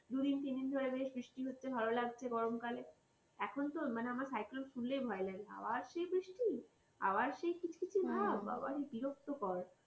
দুদিন তিনদিন ধরে বেশ বৃষ্টি হচ্ছে ভালো লাগছে গরমকালে এখন তো আমার cyclone শুনলেই ভয় লাগে আবার সেই বৃষ্টি আবার সেই পিছে পিছে ভাব বাবারে বিরক্ত কর